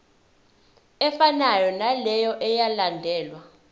efanayo naleyo eyalandelwa